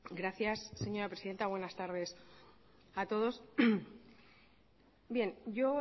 gracias señora presidenta buenas tardes a todos bien yo